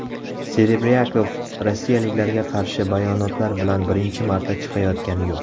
Serebryakov rossiyaliklarga qarshi bayonotlar bilan birinchi marta chiqayotgani yo‘q.